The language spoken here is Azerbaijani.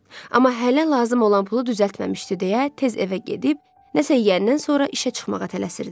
Amma hələ lazım olan pulu düzəltməmişdi deyə, tez evə gedib, nəsə yeyəndən sonra işə çıxmağa tələsirdi.